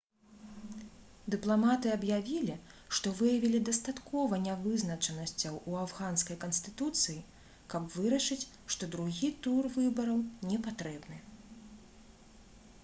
дыпламаты аб'явілі што выявілі дастаткова нявызначанасцяў у афганскай канстытуцыі каб вырашыць што другі тур выбараў непатрэбны